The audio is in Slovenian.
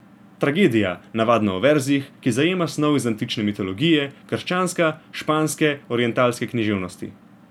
Tragedija, navadno v verzih, ki zajema snov iz antične mitologije, krščanstva, španske, orientalske književnosti.